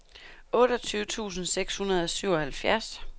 otteogtyve tusind seks hundrede og syvoghalvfjerds